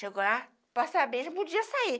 Chegou lá, para saber, já podia sair.